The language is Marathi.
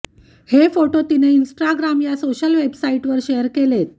हे फोटो तिनं इन्स्टाग्राम या सोशल वेबसाईटवर शेअर केलेत